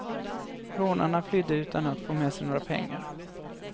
Rånarna flydde utan att få med sig några pengar.